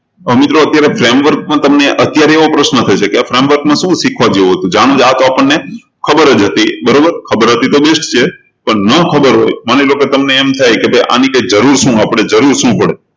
તો મિત્રો અત્યારે framework તમને એવો પ્રશ્ન થશે કે framework માં શું શીખવા જેવું હતું આ તો આપણને ખબર જ હતી બરોબર ખબર હતી તો best છે પણ ના ખબર હોય માની લો કે ભાઈ તમને એમ થાય કે આની જરૂર શું પડે